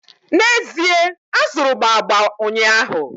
N'ezie, azụrụ m agba ụnyaahụ